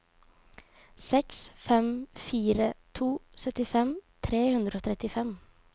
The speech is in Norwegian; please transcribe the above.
seks fem fire to syttifem tre hundre og trettifem